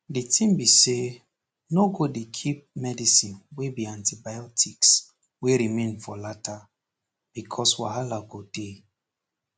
the tin be say no go dey keep medicine wey be antibiotics wey remain for lata becoz wahala go dey